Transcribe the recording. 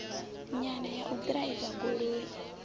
nyana ya u ḓiraiva goloi